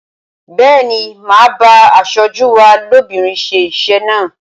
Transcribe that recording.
Bẹ́ẹ̀ni, màá bá aṣojú wa lóbìnrin ṣe iṣẹ́ náà.